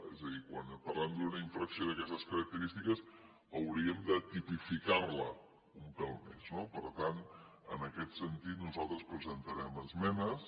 és a dir quan parlem d’una infracció d’aquestes característiques hauríem de tipificar la un pèl més no per tant en aquest sentit nosaltres presentarem esmenes